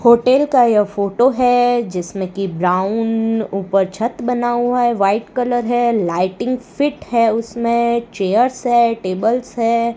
Hotel का यह photo है जिसमें कि ब्राउन ऊपर छत बना हुआ है व्हाइट कलर है लाइटिंग फिट है उसमें चेयर्स हैं टेबल्स हैं।